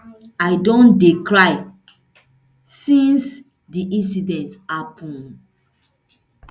i don dey cry since di incident happun